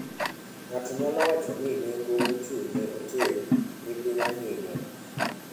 Ng'ato nyalo wacho ni nengo mochung' ne otel ni piny ahinya.